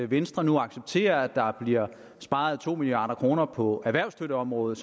venstre nu accepterer at der bliver sparet to milliard kroner på erhvervsstøtteområdet